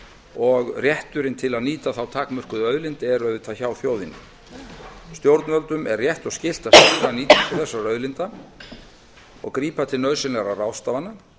og rétturinn til að nýta þá takmörkuðu náttúruauðlind er auðvitað hjá þjóðinni stjórnvöldum er rétt og skylt að stýra nýtingu þessara auðlinda og grípa til nauðsynlegra ráðstafana